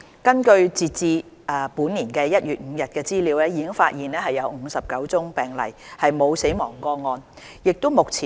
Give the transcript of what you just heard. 根據截至本年1月5日的資料，已發現59宗病例，沒有死亡個案。